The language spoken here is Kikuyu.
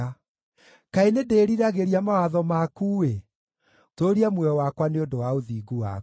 Kaĩ nĩndĩĩriragĩria mawatho maku-ĩ! Tũũria muoyo wakwa nĩ ũndũ wa ũthingu waku.